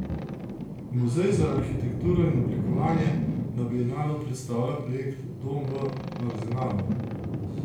Muzej za arhitekturo in oblikovanje na bienalu predstavlja projekt Dom v Arzenalu.